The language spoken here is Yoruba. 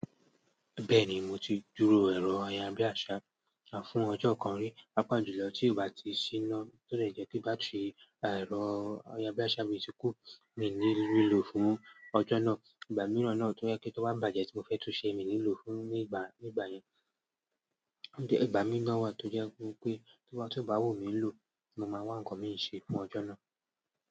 Bẹ́ẹ̀ni, mo ti dúró ẹ̀rọ ayárabíàṣá fún ọjọ́ kan rí. Paapà julọ̀ tí ọ bá ti ṣíná, tọ dè jé pé battery ẹ̀rọ ayárabíàṣá mi ti kú, mi ní le ríilò fún ọjọ́ náà. Ìgbà mìíràn náà tó jẹ́ pé tó bá bàjẹ́ tí mo fẹ́ tún ṣe, mi nílò fún nígbà, nígbà yẹn. Òún tì ìgbà mí ná wá tó jẹ́ wípé tió bá wù mí ń lò, mo máa wá ǹkan mí ń ṣe fún ọjọ́ náà.